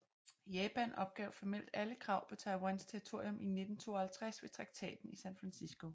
Japan opgav formelt alle krav på Taiwans territorium i 1952 ved Traktaten i San Francisco